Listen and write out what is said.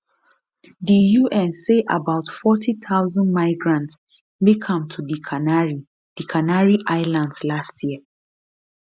di un say about 40000 migrants make am to di canary di canary islands last year